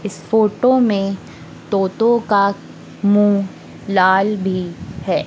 इस फोटो में तोतों का मुंह लाल भी है।